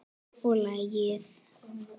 Og lagið?